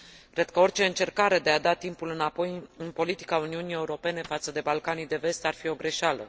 Cred că orice încercare de a da timpul înapoi în politica Uniunii Europene față de Balcanii de Vest ar fi o greșeală.